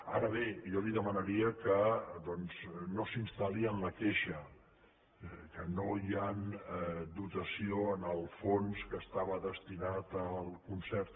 ara bé jo li demanaria que no s’instal·li en la queixa que no hi ha dotació en el fons que estava destinat al concert